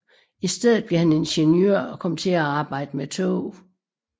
I stedet blev han ingeniør og kom til at arbejde med tog